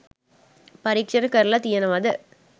පරීක්ෂණ කරලා තියනවද